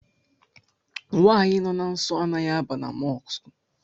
Nwaanyi nọ na nsọ anaghị aba na Mọsk